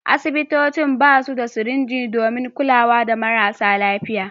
Asibitocin ba su da sirinji don kula da marasa lafiya.